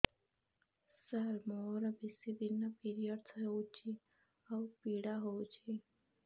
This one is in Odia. ସାର ମୋର ବେଶୀ ଦିନ ପିରୀଅଡ଼ସ ହଉଚି ଆଉ ପୀଡା ହଉଚି